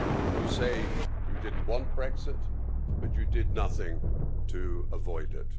You say you didn't want Brexit, but you did nothing to avoid it.